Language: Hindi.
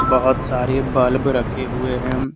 बहोत सारे बल्ब रखे हुए है।